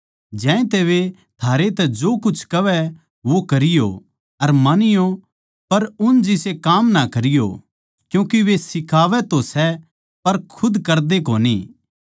ज्यांतै वे थारै तै जो कुछ कहवै वो करीयो अर मानीयो पर उन जिसे काम ना करीयो क्यूँके वे सिखावै तो सै पर खुद करदे कोनी